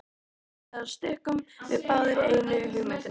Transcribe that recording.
Allavega stukkum við báðir í einu á hugmyndina.